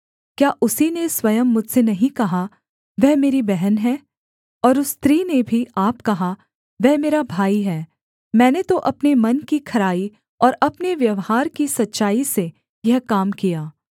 क्या उसी ने स्वयं मुझसे नहीं कहा वह मेरी बहन है और उस स्त्री ने भी आप कहा वह मेरा भाई है मैंने तो अपने मन की खराई और अपने व्यवहार की सच्चाई से यह काम किया